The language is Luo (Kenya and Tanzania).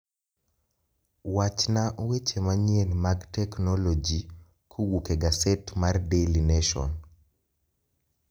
Wachna weche manyien mag teknologi kowuok e gaset mar daily nation